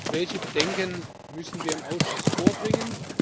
Welche Bedenken müssen wir im Ausschuss vorbringen?